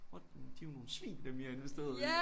What men de er jo nogle svin dem i har investeret i!